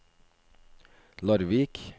Larvik